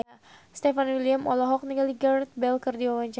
Stefan William olohok ningali Gareth Bale keur diwawancara